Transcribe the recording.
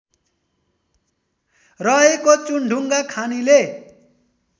रहेको चुनढुङ्गा खानीले